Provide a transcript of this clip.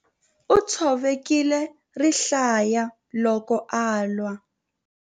U tshovekile rihlaya loko a lwa.